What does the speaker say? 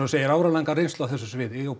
segir áralanga reynslu á þessu sviði og